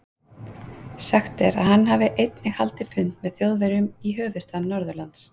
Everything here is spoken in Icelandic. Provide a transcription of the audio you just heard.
Sagt er, að hann hafi einnig haldið fund með Þjóðverjum í höfuðstað Norðurlands.